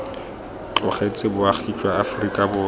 tlogetse boagi jwa aforika borwa